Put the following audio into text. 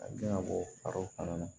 Ka den ka bɔ a fana na